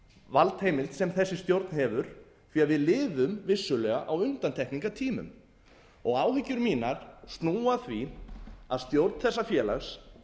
valdheimild sem þessi stjórn hefur því við lifum vissulega á undantekningartímum og áhyggjur mínar snúa að því að stjórn þessa félags